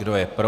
Kdo je pro?